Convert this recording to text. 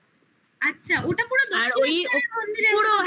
আচ্ছা ওটা পুরো দক্ষিণেশ্বর মন্দিরের মত